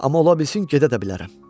Amma ola bilsin gedə də bilərəm.